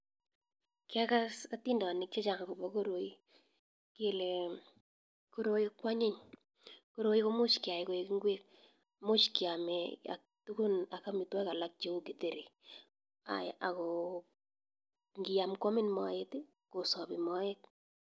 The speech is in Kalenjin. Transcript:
Kiakas atindanik chechang akopa koroi, kele koroi kwanyiny ,koroi komuch keyai koik ngwek much keame ak amitwokik alak cheu githeri ako ngiam kwamin moet, kosapi moet.